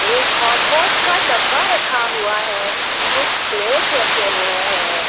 एक हॉटपॉट का डब्बा रखा हुआ है कुछ प्लेट्स रखे हुए हैं।